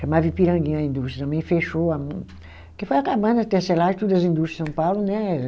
Chamava Ipiranguinha a indústria, também fechou a muito, porque foi acabando a tecelagem, todas as indústrias de São Paulo, né?